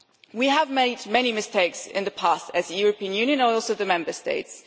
We have made many mistakes in the past as a European Union, and also the Member States.